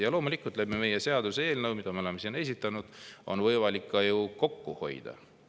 Ja loomulikult, meie seaduseelnõuga, mille me oleme siin esitanud, on võimalik ka kokku hoida.